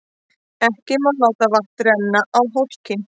Ekki má láta vatn renna á hólkinn.